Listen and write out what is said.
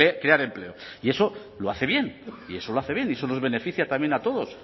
crear empleo y eso lo hace bien y eso lo hace bien y eso nos beneficia también a todos